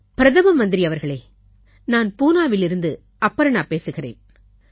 பிரதமர் அவர்களே நான் பூனாவிலிருந்து அபர்ணா பேசுகிறேன்